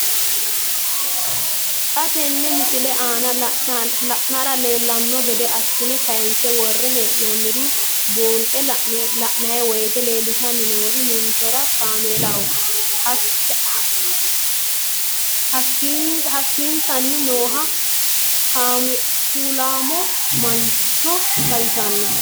Xa tenne missile aana la'nara leellanno gede assine kayiinse worre hee'noonniri buunxe la'nanni woyiite leellishshanni noori ninkera kaameelaho hayiikkisanni nooha kuulaamo mancho xawissanno.